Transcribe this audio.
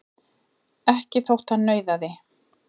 Ekki þótt hann nauðaði.